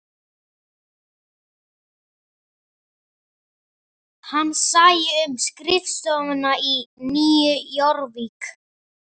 Hann sæi um skrifstofuna í Nýju Jórvík